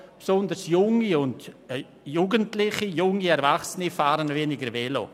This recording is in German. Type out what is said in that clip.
Besonders Jugendliche und junge Erwachsene fahren weniger Velo.